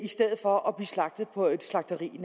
stedet for at blive slagtet på et slagteri